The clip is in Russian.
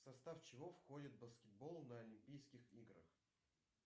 в состав чего входит баскетбол на олимпийских играх